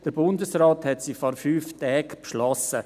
Der Bundesrat hat diese vor fünf Tagen beschlossen.